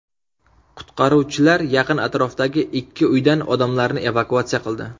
Qutqaruvchilar yaqin atrofdagi ikki uydan odamlarni evakuatsiya qildi.